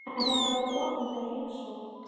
En þetta var þó opinber heimsókn.